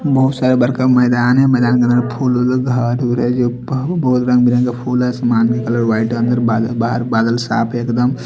मौ साइबर का मैदान है मैदान के तरफ फूल उल बहत रंग बिरंगे फूल है सामान निकाला हुआ है बहार बादल साफ है एकदम ।